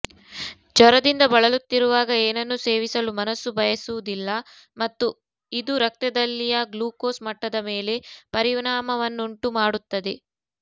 ಜ್ವರದಿಂದ ಬಳಲುತ್ತಿರುವಾಗ ಏನನ್ನೂ ಸೇವಿಸಲು ಮನಸ್ಸು ಬಯಸುವುದಿಲ್ಲ ಮತ್ತು ಇದು ರಕ್ತದಲ್ಲಿಯ ಗ್ಲುಕೋಸ್ ಮಟ್ಟದ ಮೇಲೆ ಪರಿಣಾಮವನ್ನುಂಟು ಮಾಡುತ್ತದೆ